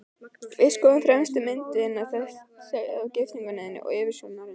Við skoðuðum fremstu myndina, þessa af giftingunni þinni og yfirsjónarinnar.